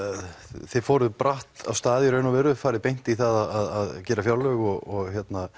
þið fóruð bratt af stað í raun og veru þið fóruð beint í það að gera fjárlög og